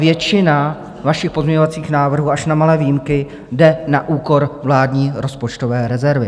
Většina vašich pozměňovacích návrhů až na malé výjimky jde na úkor vládní rozpočtové rezervy.